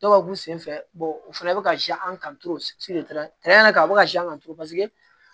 Dɔw bɛ k'u senfɛ u fana bɛ ka a bɛ ka kan turu